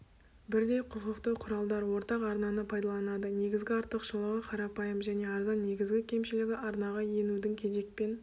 бірдей құқықты құралдар ортақ арнаны пайдаланады негізгі артықшылығы қарапайым және арзан негізгі кемшілігі арнаға енудің кезекпен